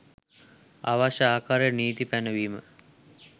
අවශ්‍ය ආකාරයට නීති පැනවීම්